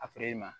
A ma